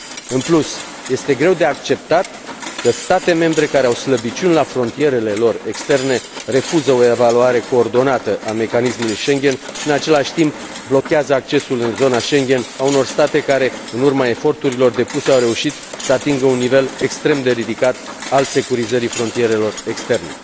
În plus, este greu de acceptat că state membre care au slăbiciuni la frontierele lor externe refuză o evaluare coordonată a mecanismului Schengen și, în același timp, blochează accesul în zona Schengen al unor state care, în urma eforturilor depuse, au reușit să atingă un nivel extrem de ridicat al securizării frontierelor externe.